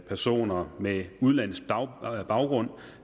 personer med udenlandsk baggrund